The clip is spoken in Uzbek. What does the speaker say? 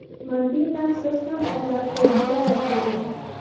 Mantiqan siz ham o‘ylab ko‘rib javob bering.